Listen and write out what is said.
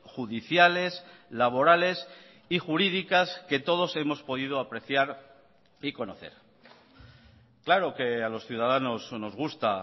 judiciales laborales y jurídicas que todos hemos podido apreciar y conocer claro que a los ciudadanos nos gusta